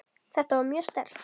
Þetta var mjög sterkt.